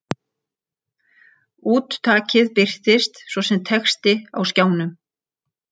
Úttakið birtist svo sem texti á skjánum.